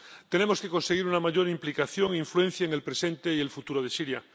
Tenemos que conseguir una mayor implicación e influencia en el presente y el futuro de Siria.